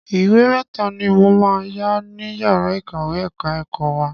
Ìwé mẹ́ta ni mo máa yá ní yàrá ìkàwé ẹ̀ka ẹ̀kọ́ wa.